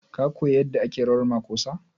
Ka koya yadda ake rawan makosa?